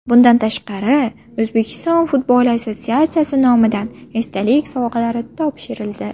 Bundan tashqari O‘zbekiston futbol assotsiatsiyasi nomidan esdalik sovg‘alari topshirildi.